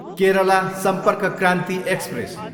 Kerala Sampark Kranti express